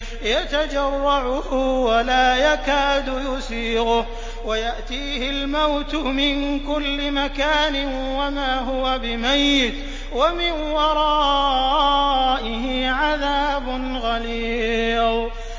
يَتَجَرَّعُهُ وَلَا يَكَادُ يُسِيغُهُ وَيَأْتِيهِ الْمَوْتُ مِن كُلِّ مَكَانٍ وَمَا هُوَ بِمَيِّتٍ ۖ وَمِن وَرَائِهِ عَذَابٌ غَلِيظٌ